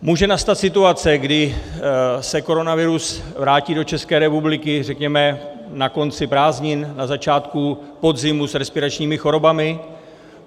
Může nastat situace, kdy se koronavirus vrátí do České republiky, řekněme na konci prázdnin, na začátku podzimu, s respiračními chorobami.